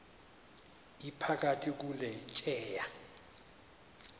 iphakathi kule tyeya